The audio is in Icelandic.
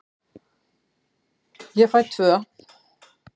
Ég fæ tvö.